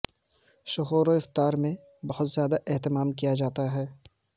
سحور و افطار میں بہت زیادہ اھتمام کیا جاتا ھے